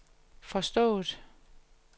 forstået